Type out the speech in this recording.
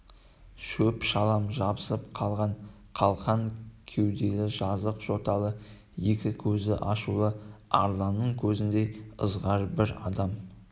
шөп-шалам жабысып қалған қалқан кеуделі жазық жоталы екі көзі ашулы арланның көзіндей ызғарлы бір адам